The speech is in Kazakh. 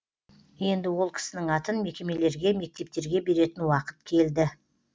енді ол кісінің атын мекемелерге мектептерге беретін уақыт келді